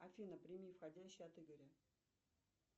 афина прими входящий от игоря